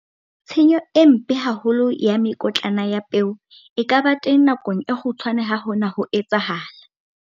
Tshenyo e mpe haholo ya mekotlana ya peo e ka ba teng nakong e kgutshwane ha hona ho etsahala.